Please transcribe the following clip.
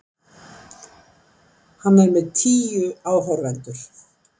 Hann er með tíu áhorfendur.